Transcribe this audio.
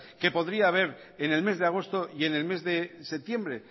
que podría haber en el mes de agosto y en el mes de septiembre